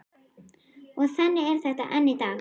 Og þannig er þetta enn í dag.